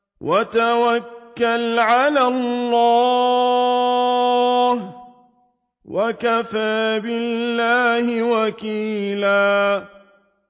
وَتَوَكَّلْ عَلَى اللَّهِ ۚ وَكَفَىٰ بِاللَّهِ وَكِيلًا